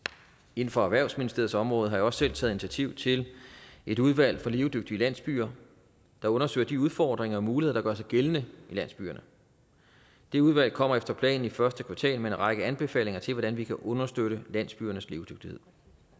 inden for erhvervsministeriets område har jeg også selv taget initiativ til et udvalg for levedygtige landsbyer der undersøger de udfordringer og muligheder der gør sig gældende i landsbyerne det udvalg kommer efter planen i første kvartal med en række anbefalinger til hvordan vi kan understøtte landsbyernes levedygtighed